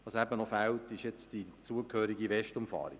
Was jetzt noch fehlt, ist die zugehörige Westumfahrung.